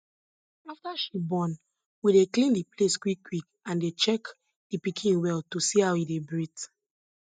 after she born we dey clean the place quick quick and dey check the pikin well to see how e dey breathe